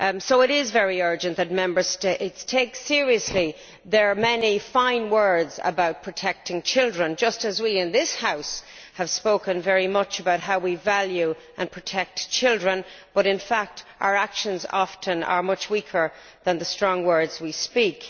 It is very urgent that Member States take seriously their many fine words about protecting children, just as we in this House have spoken very much about how we value and protect children, whereas in fact, our actions are often much weaker than the strong words we speak.